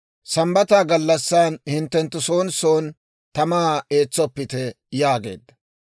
Sambbata gallassan hinttenttu soon soon tamaa eetsoppite» yaageedda.